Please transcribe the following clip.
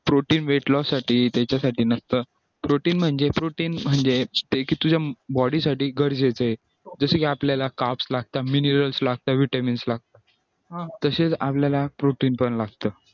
protein weight loss साठी त्याच्यासाठी नसतं protein म्हणजे protein म्हणजे तुझ्या body साठी गरजेच आहे जसं की आपल्याला vitamins ला तसं आपल्याला protein पण लागत